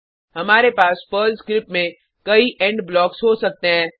हमारे पास Perl script में कई इंड ब्लॉक्स हो सकते हैं